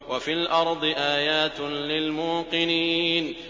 وَفِي الْأَرْضِ آيَاتٌ لِّلْمُوقِنِينَ